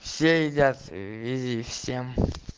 все едят ии всем